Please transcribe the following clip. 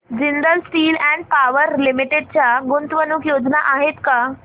Jindal steel and power limited च्या गुंतवणूक योजना आहेत का